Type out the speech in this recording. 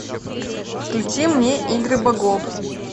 включи мне игры богов